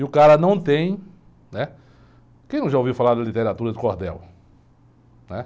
E o cara não tem, né... Quem não já ouviu falar da literatura do Cordel?